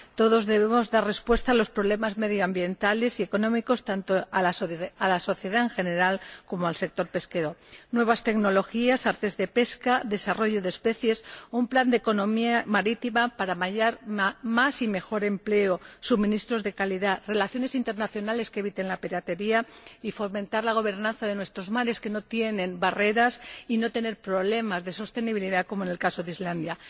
Todos debemos dar respuesta a los problemas medioambientales y económicos, tanto para la sociedad en general como para el sector pesquero nuevas tecnologías, artes de pesca, desarrollo de especies, un plan de economía marítima para hallar más y mejor empleo, suministros de calidad, relaciones internacionales que eviten la piratería y fomentar la gobernanza de nuestros mares, que no tienen barreras, y no tener problemas de sostenibilidad como en el caso de Islandia.